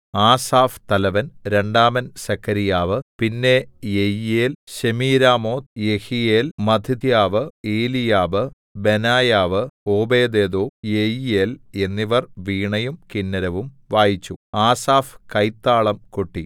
ആസാഫ് തലവൻ രണ്ടാമൻ സെഖര്യാവ് പിന്നെ Jeiel Shemiramoth Jehiel Mattithiah Eliab Benaiah Obed Edom Jeiel എന്നിവർ വീണയും കിന്നരവും വായിച്ചു ആസാഫ് കൈത്താളം കൊട്ടി